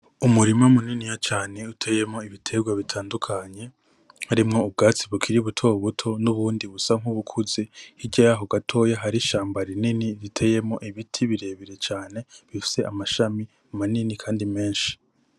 Umurima muniniya cane cane utewemwo ibitegwa bitandukanye harimwo ubwatsi bukiri butobuto n'ubundi busa nk'ubukuze, hirya yaho gatoya hari ishamba rinini riteye ibiti birebire cane rifise amashami manini kandi menshi.